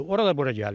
Oraya da bura gəlir.